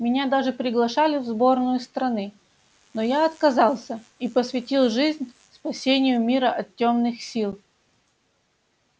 меня даже приглашали в сборную страны но я отказался и посвятил жизнь спасению мира от тёмных сил